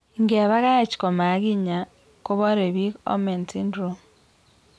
Ingepakach koma kinya kopore pik Omenn syndrome?